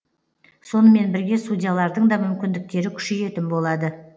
сонымен бірге судьялардың да мүмкіндіктері күшейетін болады